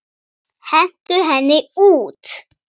Hentu henni út!